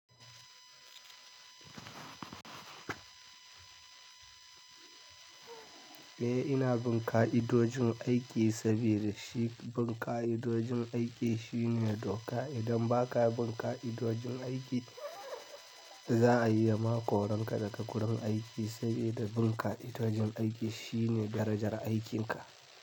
Eh ina bin ka'idojin aiki saboda shi bin ka'idojin aiki shine doka. Idan baka bin ka'idojin aiki za a yi ma koran ka daga wurin aiki, sabida bin ka'idojin aiki shine darajar aikin ka.